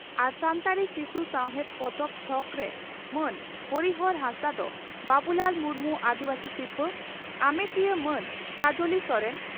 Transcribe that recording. ᱟᱨ ᱥᱟᱱᱛᱟᱲᱤ ᱥᱤᱥᱩ ᱥᱟᱶᱦᱮᱫ ᱯᱚᱛᱚᱵ ᱛᱷᱚᱠᱨᱮᱢᱟᱱ ᱦᱚᱨᱤᱦᱚᱨ ᱦᱟᱸᱥᱫᱟᱜ ᱫᱚ ᱵᱟᱹᱵᱩᱞᱟᱞ ᱢᱩᱨᱢᱩ ᱟᱹᱫᱤᱵᱟᱹᱥᱤ ᱥᱤᱨᱯᱷᱟᱹ ᱟᱢᱮᱴᱤᱭᱟᱹ ᱢᱟᱱ ᱠᱟᱡᱽᱞᱤ ᱥᱚᱨᱮᱱ